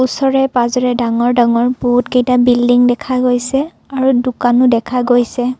ওচৰে পাজৰে ডাঙৰ ডাঙৰ বহুতকেইটা বিল্ডিং দেখা গৈছে আৰু দোকানো দেখা গৈছে।